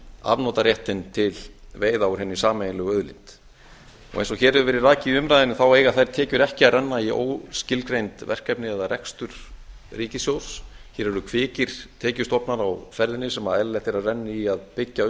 afnotaréttinn til veiða úr hinni sameiginlegu auðlind eins og hér hefur verið rakið í umræðunni þá eiga þær tekjur ekki að renna í óskilgreind verkefni eða rekstur ríkissjóðs hér eru kvikir tekjustofnar á ferðinni sem eðlilegt er að renni í að byggja